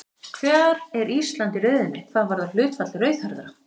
Hvar er Ísland í röðinni hvað varðar hlutfall rauðhærðra?